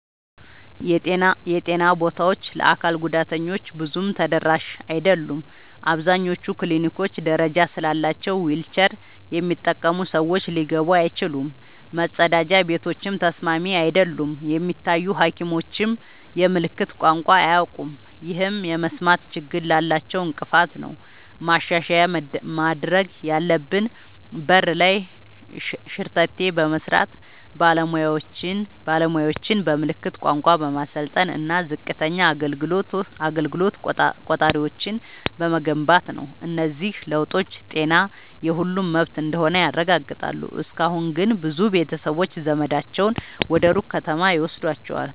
የጤና ቦታዎች ለአካል ጉዳተኞች ብዙም ተደራሽ አይደሉም። አብዛኞቹ ክሊኒኮች ደረጃ ስላላቸው ዊልቸር የሚጠቀሙ ሰዎች ሊገቡ አይችሉም፤ መጸዳጃ ቤቶችም ተስማሚ አይደሉም። የሚታዩ ሐኪሞችም የምልክት ቋንቋ አያውቁም፣ ይህም የመስማት ችግር ላላቸው እንቅፋት ነው። ማሻሻያ ማድረግ ያለብን በር ላይ ሸርተቴ በመስራት፣ ባለሙያዎችን በምልክት ቋንቋ በማሰልጠን እና ዝቅተኛ አገልግሎት ቆጣሪዎችን በመገንባት ነው። እነዚህ ለውጦች ጤና የሁሉም መብት እንደሆነ ያረጋግጣሉ። እስካሁን ግን ብዙ ቤተሰቦች ዘመዳቸውን ወደ ሩቅ ከተማ ይወስዷቸዋል።